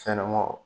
Fɛnɲɛnɛmanw